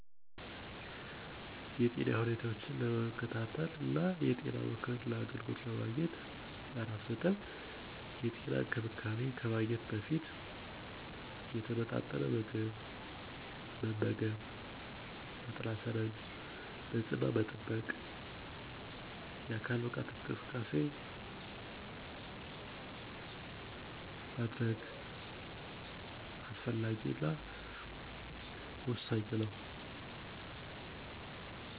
የጤና ሁኔታዎችን ለመከታተልና የጤና የምክር አገልግሎት ለመግኘት። የጤና እንክብካቤ ከማግኘት በፊት የተመጣጠነ ምግብ መመገብ፣ ንጽሕና መጠበቅ የአካል ብቃት እንቅስቃሴ ማድረግ